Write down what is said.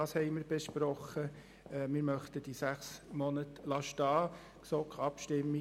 Mit 7 zu 8 Stimmen bei 0 Enthaltungen möchten wir die sechs Monate stehen lassen.